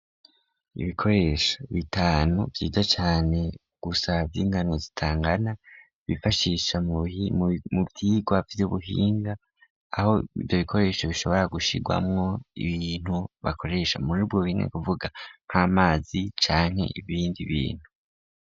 Ibikoresha bitanu vyiza cane ugusava ingano zitangana bifashisha mu vyirwa vy'ubuhinga aho ivyo bikoresho bishobora gushirwamwo ibintu bakoresha muri bwo binke kuvuga nk'amazi canke ibindi bintu.